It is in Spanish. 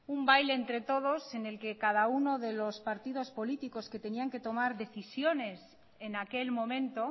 un baile entre todos en el que cada uno de los partidos políticos que tenían que tomar decisiones en aquel momento